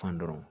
Kan dɔrɔnw